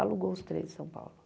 Alugou os três em São Paulo.